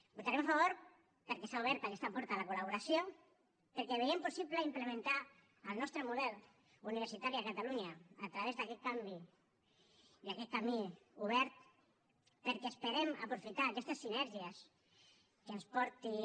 hi votarem a favor perquè s’ha obert aquesta porta a la col·laboració perquè veiem possible implementar el nostre model universitari a catalunya a través d’aquest canvi i aquest camí obert perquè esperem aprofitar aquestes sinergies que ens portin